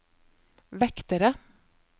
vektere